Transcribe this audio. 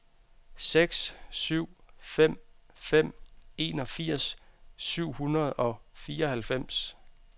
seks syv fem fem enogfirs syv hundrede og fireoghalvfems